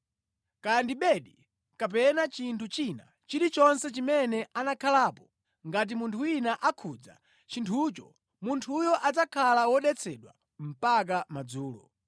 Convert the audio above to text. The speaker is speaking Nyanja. Kaya ndi bedi kapena chinthu china chilichonse chimene anakhalapo, ngati munthu wina akhudza chinthucho, munthuyo adzakhala wodetsedwa mpaka madzulo.